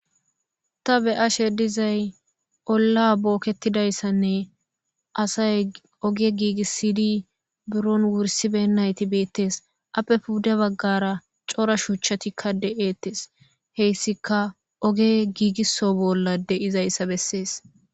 Ta be'ashe dizay olla bookettidayssanne asay ooge giigissidi buron wursibeyinayti beettees appe pudde baggara cora shuuchchatikka de'eettees heyssika ooge giigisso bolla de'izayssa bessees